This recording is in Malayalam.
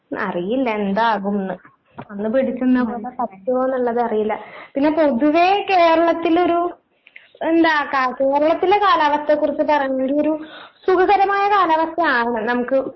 അറിയില്ല എന്താകുംന്ന്. അന്ന് പിടിച്ചിന്നപോലെ പറ്റുവോന്ന്ള്ളതറിയില്ല. പിന്നെ പൊതുവേ കേരളത്തിലൊരു എന്താ കാ കേരളത്തിലെ കാലാവസ്ഥേക്കുറിച്ച് പറയാണെങ്കിയൊരു സുഖകരമായ കാലാവസ്ഥയാണ്. നമുക്ക്